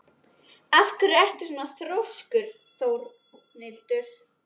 Af hverju ertu svona þrjóskur, Dómhildur?